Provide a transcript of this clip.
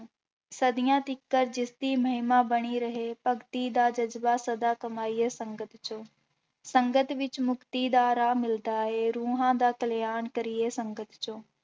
ਸਦੀਆਂ ਤੀਕਰ ਜਿਸਦੀ ਮਹਿੰਮਾ ਬਣੀ ਰਹੇ, ਭਗਤੀ ਦਾ ਜ਼ਜ਼ਬਾ ਸਦਾ ਕਮਾਈਏ ਸੰਗਤ ਚੋਂ, ਸੰਗਤ ਵਿੱਚ ਮੁੱਕਤੀ ਦਾ ਰਾਹ ਮਿਲਦਾ ਹੈ, ਰੂਹਾਂ ਦਾ ਕਲਿਆਣ ਕਰੀਏ ਸੰਗਤ ਚੋਂ।